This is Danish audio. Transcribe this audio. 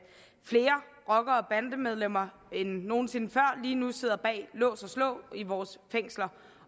flere rocker og bandemedlemmer end nogen sinde før lige nu sidder bag lås og slå i vores fængsler